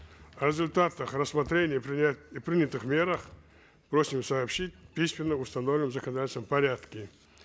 о результатах рассмотрения и принятых мерах просим сообщить письменно в установленном законодательством порядке